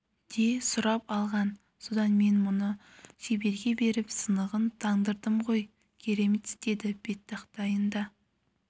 де сұрап алған содан мен мұны шеберге беріп сынығын таңдырдым ғой керемет істеді беттақтайын да